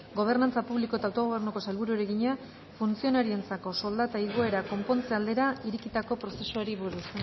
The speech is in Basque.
gobernantza publiko eta autogobernuko sailburuari egina funtzionarioentzako soldata igoera konpontze aldera irekitako prozesuari buruz